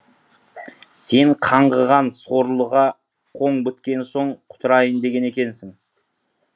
сен қаңғыған сорлыға қоң біткен соң құтырайын деген екенсің